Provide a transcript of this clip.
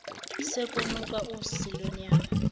sekunuka usi lwenyama